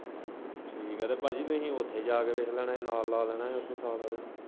ਠੀਕ ਐ ਤੇ ਭਾਜੀ ਤੁਹੀ ਉੱਥੇ ਜਾ ਕੇ ਵੇਖ ਲੈਣਾ ਨਾਲ ਲਾ ਲੈਣਾ ਹੀ ਉੱਥੇ ਸਾਥ ਆਲੇ ਨਾਲ।